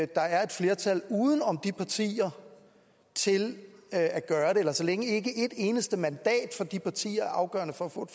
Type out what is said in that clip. der er et flertal uden om de partier til at gøre det eller så længe ikke et eneste mandat fra de partier er afgørende for at få